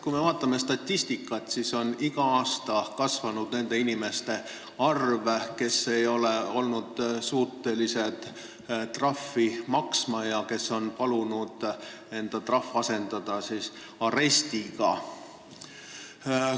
Kui me vaatame statistikat, siis näeme, et iga aasta on kasvanud nende inimeste arv, kes ei ole olnud suutelised trahvi maksma ja kes on palunud asendada trahv arestiga.